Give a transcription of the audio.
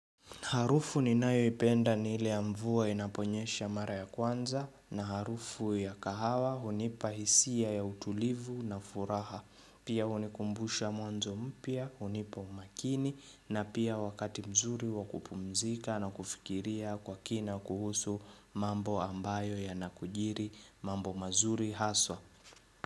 Harufu ni nayoipenda ni ile ya mvua inaponyesha mara ya kwanza na harufu ya kahawa hunipa hisia ya utulivu na furaha. Pia hunikumbusha mwanzo mpya, hunipa umakini na pia wakati mzuri wa kupumzika na kufikiria kwa kina kuhusu mambo ambayo yanakujiri mambo mazuri haswa.